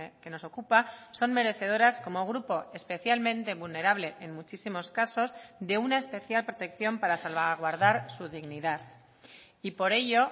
que nos ocupa son merecedoras como grupo especialmente vulnerable en muchísimos casos de una especial protección para salvaguardar su dignidad y por ello